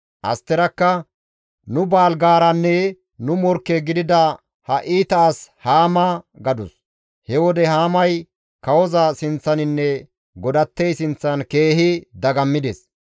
Asterakka, «Nu baalgaaranne nu morkke gidida ha iita as Haama» gadus. He wode Haamay kawoza sinththaninne godattey sinththan keehi dagammides.